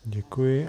Děkuji.